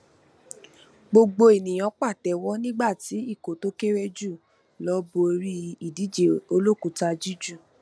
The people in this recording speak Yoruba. gbogbo ènìyàn pàtẹwọ nígbàtí ikọ tó kéré jù lọ borí ìdíje olókùúta jújù